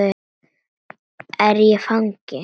Er ég fangi?